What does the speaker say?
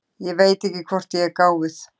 Ég veit ekki hvort ég er gáfuð.